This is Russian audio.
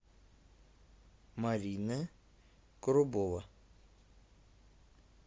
марина коробова